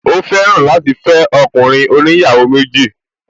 Ó fẹ́ràn láti fẹ́ ọkùnrin oníyàwó méjì